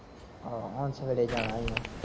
ਹਾਂ, ਹੁਣ ਸਵੇਰੇ ਜਾਣ ਈ ਆ